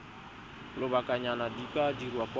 lobakanyana di ka dirwa kwa